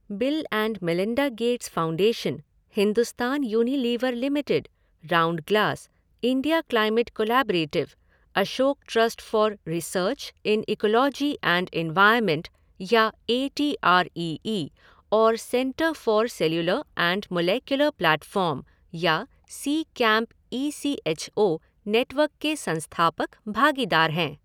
Bill and Melinda Gates Foundation, Hindustan Unilever Limited, Roundglass, India Climate Collaborative, Ashoka Trust for Research in Ecology and Environment या A T R E E और Centre for Cellular and Molecular Platforms या C CAMP E C H O network के संस्थापक भागीदार हैं।